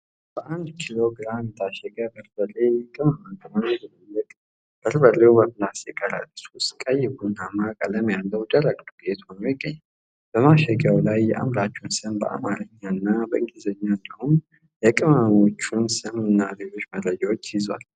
በአንድ ኪሎ ግራም የታሸገ በርበሬ የቅመማ ቅመም ድብልቅ። በርበሬው በፕላስቲክ ከረጢት ውስጥ ቀይ ቡናማ ቀለም ያለው ደረቅ ዱቄት ሆኖ ይገኛል። በማሸጊያው ላይ የአምራቹን ስም በአማርኛ እና በእንግሊዘኛ እንዲሁም የቅመሞቹን ስም እና ሌሎች መረጃዎች ይዘዋል።